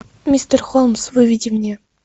мистер холмс выведи мне